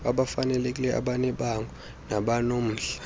abafanelekileyo abanebango nabanomdla